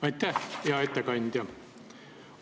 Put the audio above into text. Aitäh, hea ettekandja!